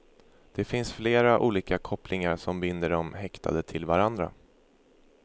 Det finns flera olika kopplingar som binder de häktade till varandra.